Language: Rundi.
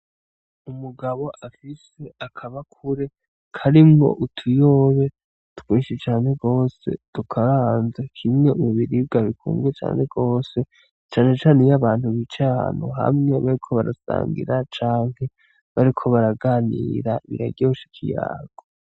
Umugabo afise akabakure karimwo utuyoba twinshi cane gose dukaranze, kimwe mu biribwa bikunzwe cane gose cane cane iy 'abantu bicaye ahantu hamwe bariko barasangira canke bariko baraganira biraryosh'ikiyago .